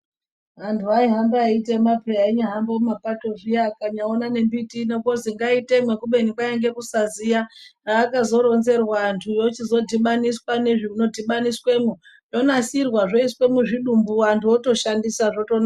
Anthu aihamba eitema pheya ainyahamba mumapato zviya akanyaona nembiti ino kwozi ngaitemwe kubeni kwainge kusaziya haakazoronzerwa anthu ochizodhibaniswa nezvinodhibaniswemwo zvonasirwa zvoiswe muzvidumbu anhu otoshandisa zvotonaka.